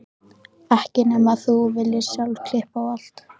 Ekki nema þú viljir sjálf klippa á allt.